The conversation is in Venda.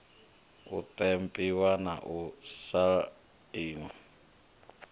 u ṱempiwa na u sainwa